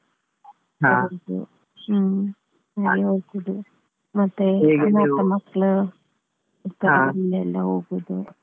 ಹ್ಮ್ ಸಣ್ಣ ಸಣ್ಣ ಮಕ್ಳು ಇರ್ತಾರಲ್ಲ ಅಲ್ಲಿ ಎಲ್ಲ ಹೋಗುದು.